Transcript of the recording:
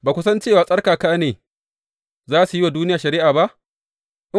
Ba ku san cewa tsarkaka ne za su yi wa duniya shari’a ba?